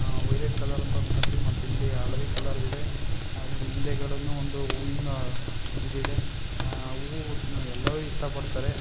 ಆ violet colour ಮತ್ತಿಲ್ಲಿ ಹಳದಿ ಕಲರ್ ಇದೆ ಅಲ್ಲಿ ಹಿಂದೆ ಗಡೆ ಒಂದು ಹುಯುವಿನ ಈದ್ ಇದೆ ಅಅ ಯಲ್ಲೋ ಇಷ್ಟ ಪಡ್ತಾರೆ.